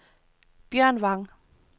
Bjørn Vang